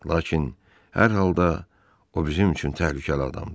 Lakin hər halda o bizim üçün təhlükəli adamdır.